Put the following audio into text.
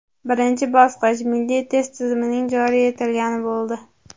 Birinchi bosqich – milliy test tizimining joriy etilgani bo‘ldi.